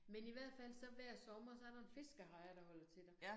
Men i hvert fald så hver sommer så der en fiskehejre der holder til der